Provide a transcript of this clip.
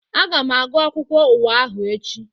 Aga m agụ akwụkwọ ụwa ahụ echi